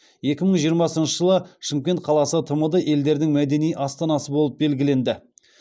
екі мың жиырмасыншы жылы шымкент қаласы тмд елдерінің мәдени астанасы болып белгіленді